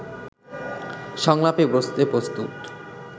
সংলাপে বসতে প্রস্তুত